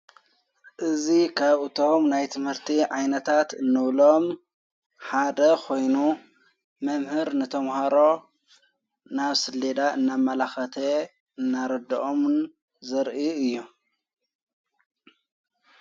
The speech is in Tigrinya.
እዙ ኸብቶም ናይ ትምህርቲ ዓይነታት እኖብሎም ሓደ ኾይኑ መምህር ነተምሃሮ ናብ ስ ሌዳ እናብ መላኸተየ እናረድኦምን ዘርኢ እዮ::